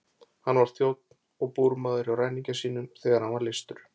Hann var þjónn og búrmaður hjá ræningja sínum þegar hann var leystur.